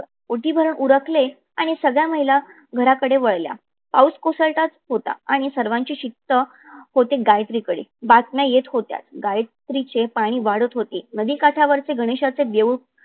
ओटी भरून उरकले आणि सगळया महिला घराकडे वळल्या. पाऊस कोसळतच होता. आणि सर्वाची शिक्त होते गायत्रीकडे बातम्या येत होत्या. गायत्रीचे पाणी वाढत होते. नदी काठावर गणेशाचे देऊळ